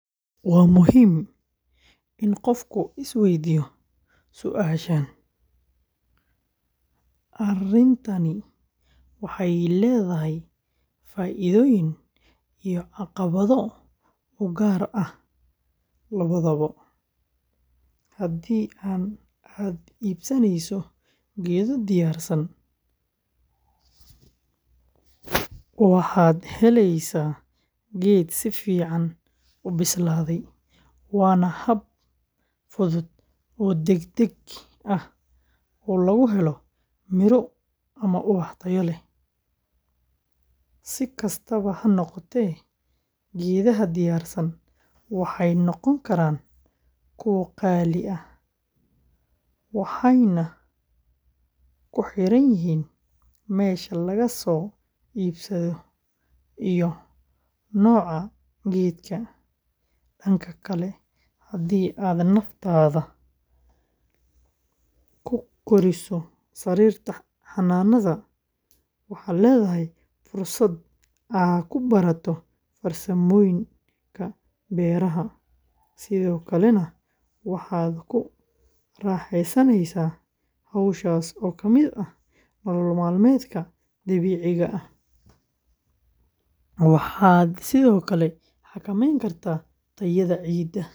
Waa muhiim In qofku isweydiyo suashan, arintan waxee muhiim u tahay faidoyin iyo caqawadho ugar ah lawadhawo hadii aad ibsaneyso iyado diyarsan waxaa helysa geed sifican ubislaade wana hab fusud oo deg deg ah oo logu talagale oo tayo leh si kastawa hanoqote geedaha diyarsan waxee noqon karan kuwa qali ah waxena ku xiran yihin mesha lagaso ibsado iyo noca geedka, danka kale hadii aad alabtadha ku koriso sarirta xananadha waxaa ledhahay fursaad aad ku barato farsamooyinka beeraha sithokalana waxa raxesaneysa howshas oo kamiid ah nolol malmeedka dabiciga eh waxaa sithokale xakameyni kartaa tayaada cida.